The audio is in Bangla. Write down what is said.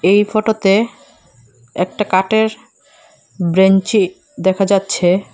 এই ফটোতে একটা কাটের ব্রেঞ্চি দেখা যাচ্ছে।